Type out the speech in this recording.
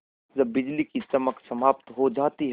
जब बिजली की चमक समाप्त हो जाती है